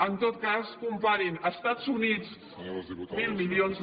en tot cas comparin els estats units mil milions